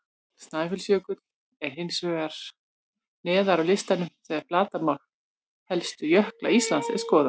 Snæfellsjökull er hins vegar neðar á listanum þegar flatarmál helstu jökla Íslands er skoðað.